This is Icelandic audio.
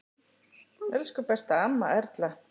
Elsku besta amma Erla.